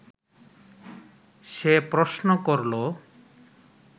সে প্রশ্ন করল